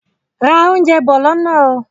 Ra oúnjẹ bọ̀ lọ́nà ó!